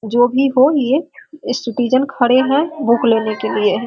जो भी हो ये ये सिटिज़न खड़े हैं बुक लेने के लिए।